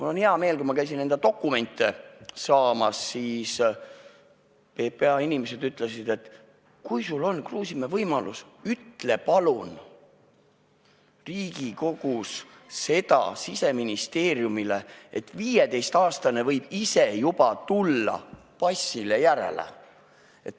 Mul on hea meel, et kui ma käisin oma dokumente saamas, siis PPA inimesed ütlesid, et kui sul on, Kruusimäe, võimalus, ütle palun Riigikogus Siseministeeriumile, et 15-aastane võib ise passile järele tulla.